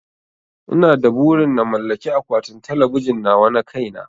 Ina da burin na mallaki akwatin talabijin nawa na kai na